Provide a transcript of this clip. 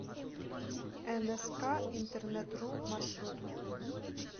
энэска интернетру маршрут